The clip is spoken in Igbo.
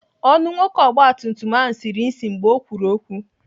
Ọnụ nwoke ọgbatumtum ahụ siri ịsị mgbe ọ kwuru okwu.